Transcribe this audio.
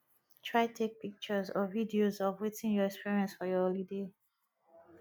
try take pictures or videos of wetin you experience for your holiday